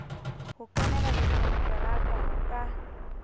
ho kenela dikonteraka ho ka